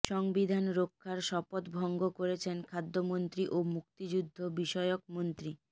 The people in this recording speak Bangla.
সংবিধান রক্ষার শপথ ভঙ্গ করেছেন খাদ্যমন্ত্রী ও মুক্তিযুদ্ধ বিষয়কমন্ত্রী